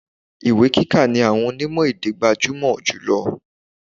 Ìwé kíka ni àwọn onimo-èdè gbajumọ julọ.